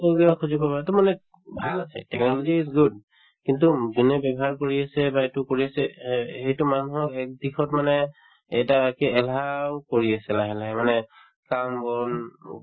to মানে ভাল আছে technology is good কিন্তু যোনে ব্যৱহাৰ কৰি আছে বা এইটো কৰি আছে অ এইটো মানুহৰ একদিশত মানে এটা কি এলাহও কৰি আছে লাহে লাহে মানে কাম-বন ন